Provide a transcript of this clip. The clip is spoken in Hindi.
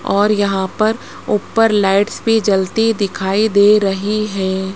और यहां पर ऊपर लाइट्स भी जलती दिखाई दे रही है।